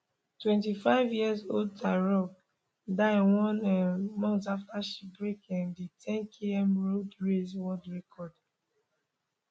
twenty fiveyearold tirop die one um month afta she break um di 10km road race world record